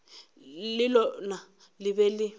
le lona le be le